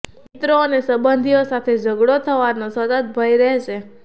મિત્રો અને સંબંધીઓ સાથે ઝગડો થવાનો સતત ભય રહેશે